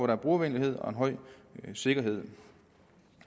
har brugervenlighed og en høj sikkerhed